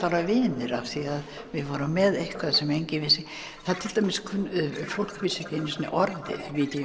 vera vinir af því við vorum með eitthvað sem enginn vissi fólk vissi ekki einu sinni orðið